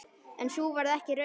En sú varð ekki raunin.